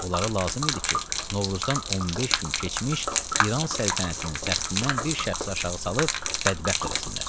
Onlara lazım idi ki, Novruzdan 15 gün keçmiş İran səltənətinin təxtindən bir şəxsi aşağı salıb bədbəxt eləsinlər.